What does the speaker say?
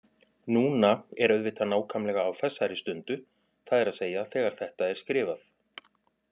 Núna er auðvitað nákvæmlega á þessari stundu, það er að segja þegar þetta er skrifað.